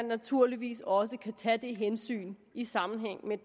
naturligvis også kan tage det hensyn i sammenhæng med